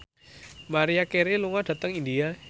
Maria Carey lunga dhateng India